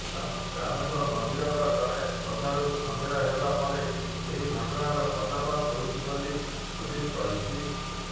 ରାମେଶ୍ବର ମନ୍ଦିରର ଜଣେ ଶ୍ରଦ୍ଧାଳୁଙ୍କ ସନ୍ଦେହ ହେବା ପରେ ଏହି ଘଟଣାର ପର୍ଦ୍ଦାଫାଶ ହୋଇଛି ବୋଲି ପୁଲିସ କହିଛି